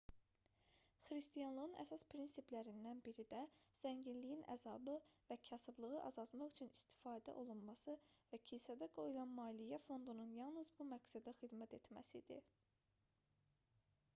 xristianlığın əsas prinsiplərindən biri də zənginliyin əzabı və kasıblığı azaltmaq üçün istifadə olunması və kilsədə qoyulan maliyyə fondunun yalnız bu məqsədə xidmət etməsi idi